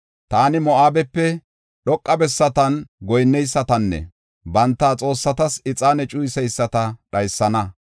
Taani Moo7abepe dhoqa bessatan goyinnesatanne banta xoossatas ixaane cuyiseyisata dhaysana.